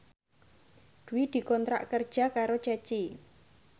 Dwi dikontrak kerja karo Ceci